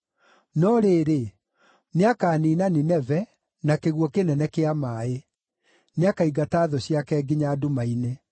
no rĩrĩ, nĩakaniina Nineve na kĩguũ kĩnene kĩa maaĩ; nĩakaingata thũ ciake nginya nduma-inĩ.